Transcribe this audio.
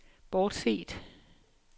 bortset